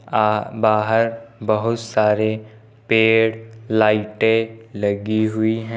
बाहर बहुत सारे पेड़ लाइटें लगी हुई है।